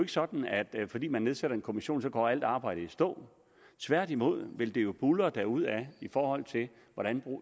sådan at fordi man nedsætter en kommission går alt arbejdet i stå tværtimod vil det jo buldre derudad i forhold til hvordan